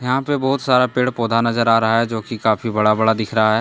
यहां पे बहोत सारा पेड़ पौधा नजर आ रहा है जो की काफी बड़ा बड़ा दिख रहा है।